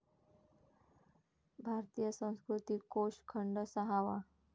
भारतीय संस्कृती कोष खंड सहावा